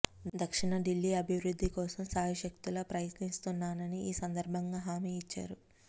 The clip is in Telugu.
దక్షిణ ఢిల్లీ అభివృద్ధి కోసం శాయశక్తులా ప్రయత్నిస్తాననితీ ఈ సందర్భంగా హామీ ఇచ్చారు